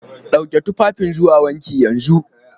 Dauki tufafin zuwa wanki yanzu!